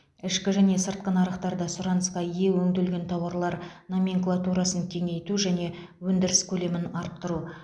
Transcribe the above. ішкі және сыртқы нарықтарда сұранысқа ие өңделген тауарлар номенклатурасын кеңейту және өндіріс көлемін арттыру